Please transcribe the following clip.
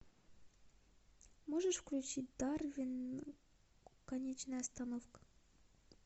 можешь включить дарвин конечная остановка